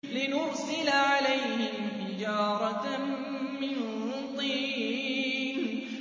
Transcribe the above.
لِنُرْسِلَ عَلَيْهِمْ حِجَارَةً مِّن طِينٍ